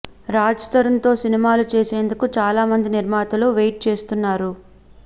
రాజ్ తరుణ్ తో సినిమాలు చేసేందుకు చాలా మంది నిర్మాతలు వెయిట్ చేస్తున్నారు